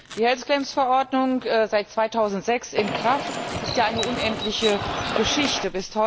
Die Verordnung, seit 2006 in Kraft, ist ja eine unendliche Geschichte.